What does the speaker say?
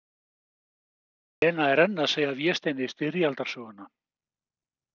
Lena er enn að segja Vésteini styrjaldarsöguna.